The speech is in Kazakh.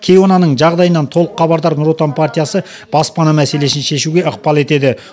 кейуананың жағдайынан толық хабардар нұр отан партиясы баспана мәселесін шешуге ықпал етеді